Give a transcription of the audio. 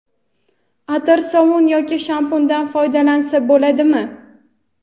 atir sovun yoki shampundan foydalansa bo‘ladimi?.